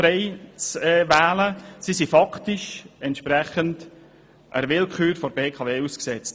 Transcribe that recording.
Sie sind somit faktisch der Willkür der BKW ausgeliefert.